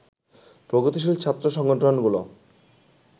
প্রগতিশীল ছাত্র সংগঠনগুলো